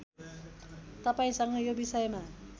तपाईँसँग यो विषयमा